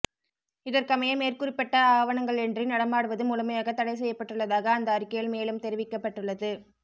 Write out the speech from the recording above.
இதற்கமைய மேற்குறிப்பிட்ட ஆவணங்களின்றி நடமாடுவது முழுமையாக தடை செய்யப்பட்டுள்ளதாக அந்த அறிக்கையில் மேலும் தெரிவிக்கப்பட்டுள்ளது